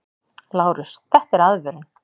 LÁRUS: Þetta er aðvörun!